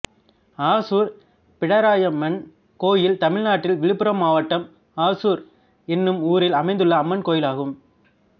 Azure Pidariamman கோயில் தமிழ்நாட்டில் விழுப்புரம் மாவட்டம் ஆசூர் என்னும் ஊரில் அமைந்துள்ள அம்மன் கோயிலாகும்